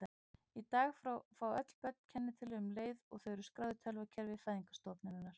Í dag fá öll börn kennitölu um leið og þau eru skráð í tölvukerfi fæðingarstofnunar.